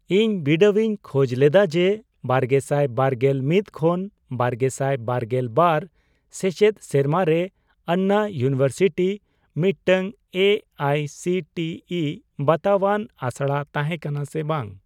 ᱤᱧ ᱵᱤᱰᱟᱣᱤᱧ ᱠᱷᱚᱡᱽ ᱞᱮᱫᱟ ᱡᱮ ᱵᱟᱨᱜᱮᱥᱟᱭ ᱵᱟᱨᱜᱮᱞ ᱢᱤᱫ ᱠᱷᱚᱱ ᱵᱟᱨᱜᱮᱥᱟᱭ ᱵᱟᱨᱜᱮᱞ ᱵᱟᱨ ᱥᱮᱪᱮᱫ ᱥᱮᱨᱢᱟᱨᱮ ᱟᱱᱱᱟ ᱤᱭᱩᱱᱤᱵᱷᱟᱨᱥᱤᱴᱤ ᱢᱤᱫᱴᱟᱝ A I C T E ᱵᱟᱛᱟᱣᱟᱱ ᱟᱥᱲᱟ ᱛᱟᱦᱮᱸ ᱠᱟᱱᱟ ᱥᱮ ᱵᱟᱝ ?